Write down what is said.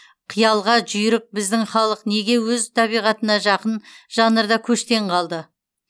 қиялға жүйрік біздің халық неге өз табиғатына жақын жанрда көштен қалды